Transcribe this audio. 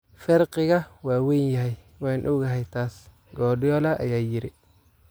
"Farqiga waa weyn yahay, waan ogahay taas," Guardiola ayaa yiri."